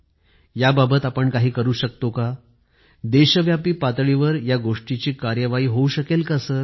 काय आपण यावर काही तोडगा काढू शकत नाही का ज्या द्वारे पुन्हा पुस्तक भेट देण्याची चांगली बाब देशव्यापी होऊ शकेल